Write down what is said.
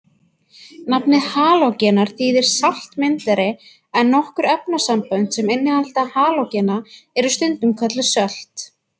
Nafnið halógenar þýðir saltmyndari en nokkur efnasambönd sem innihalda halógena eru stundum kölluð sölt.